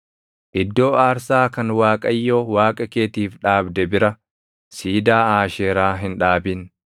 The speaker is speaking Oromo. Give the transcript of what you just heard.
Iddoo aarsaa kan Waaqayyo Waaqa keetiif dhaabde bira siidaa Aasheeraa hin dhaabin.